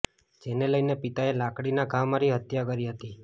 જેને લઈને પિતાએ લાકડીના ઘા મારી હત્યા કરી હતી